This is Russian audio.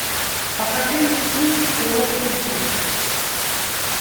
покажи мне фильм урок любви